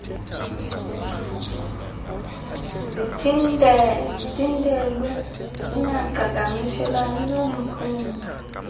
zithintelwe zingaqhagamshelani nomphunga